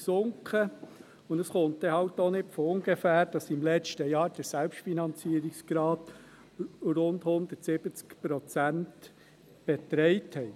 Es ist dann halt auch nicht von ungefähr, dass im letzten Jahr der Selbstfinanzierungsgrad rund 170 Prozent betrug.